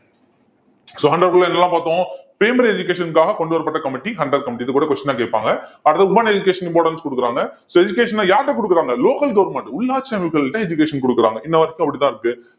so Hunter என்னெல்லாம் பார்த்தோம் primary education காக கொண்டுவரப்பட்ட committee ஹண்டர் committee இது கூட question ஆ கேப்பாங்க அடுத்து women education importance குடுக்கறாங்க so education அ யார்கிட்ட குடுக்கறாங்க local government உள்ளாட்சி அமைப்புகள்கிட்ட education குடுக்கறாங்க இந்த அப்படித்தான் இருக்கு